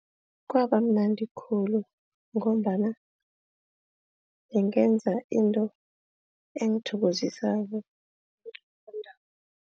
Kwaba mnandi khulu ngombana bengenza into engithokozisako.